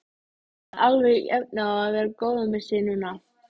Hafði alveg efni á að vera góður með sig núna.